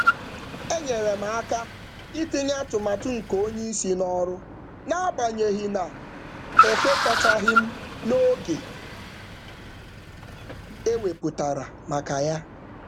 M nyere aka mejupụta atụmatụ oga n’agbanyeghị enweghị m obi abụọ banyere oge.